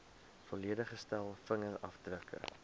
volledige stel vingerafdrukke